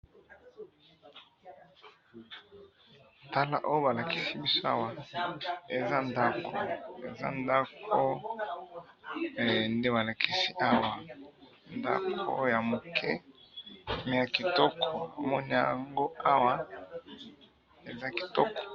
oyo ba lakisi biso awa eza ndako, eza ndako nde ba lakisi awa, ndako ya mukie mais ya kitoko, tomoni yango awa, eza kitoko